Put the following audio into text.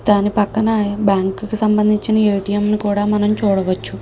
దాని పక్కన మనం బ్యాంకు కి సంబంధించిన ఎ_టి_ఎం ని కూడా మనం చూడవచ్చు.